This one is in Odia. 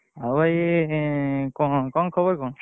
ଆଉ ଭାଇ କଣ ଖବର କଣ?